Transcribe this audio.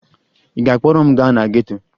Ị ga-akpọrọ m gaa na geto?